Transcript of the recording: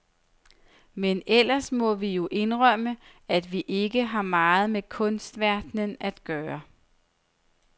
Men ellers må vi jo indrømme, at vi ikke har meget med kunstverdenen at gøre.